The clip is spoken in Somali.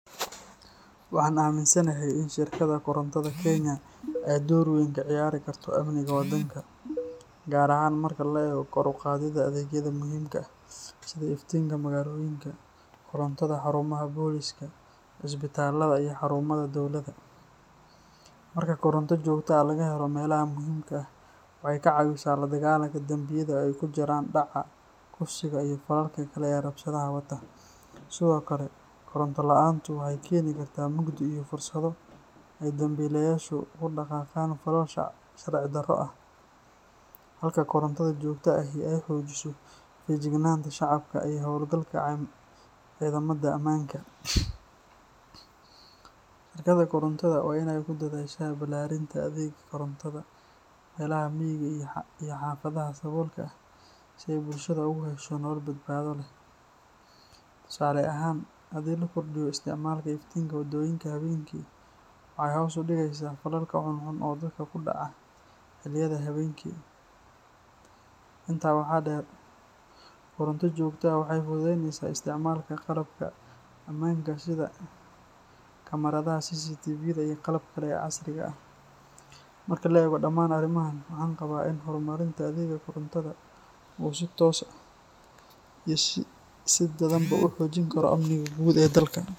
Waxaan aaminsanahay in shirkadda korontada Kenya ay door weyn ka ciyaari karto amniga wadanka, gaar ahaan marka la eego kor u qaadidda adeegyada muhiimka ah sida iftiinka magaalooyinka, korontada xarumaha booliska, isbitaalada, iyo xarumaha dowladda. Marka koronto joogto ah laga helo meelaha muhiimka ah, waxay ka caawisaa la dagaalanka dambiyada oo ay ku jiraan dhaca, kufsiga, iyo falalka kale ee rabshadaha wata. Sidoo kale, koronto la’aantu waxay keeni kartaa mugdi iyo fursado ay dambiilayaashu ku dhaqaaqaan falal sharci darro ah, halka korontada joogtada ahi ay xoojiso feejignaanta shacabka iyo hawlgalka ciidamada ammaanka. Shirkadda korontada waa inay ku dadaashaa ballaarinta adeegga korontada meelaha miyiga iyo xaafadaha saboolka ah si ay bulshada ugu hesho nolol badbaado leh. Tusaale ahaan, haddii la kordhiyo isticmaalka iftiinka wadooyinka habeenkii, waxay hoos u dhigeysaa falalka xunxun oo dadka ku dhaca xilliyada habeenkii. Intaa waxaa dheer, koronto joogto ah waxay fududeyneysaa isticmaalka qalabka ammaanka sida kamaradaha CCTV-da iyo qalabka kale ee casriga ah. Marka la eego dhammaan arrimahan, waxaan qabaa in horumarinta adeegga korontada uu si toos ah iyo si dadbanba u xoojin karo amniga guud ee dalka.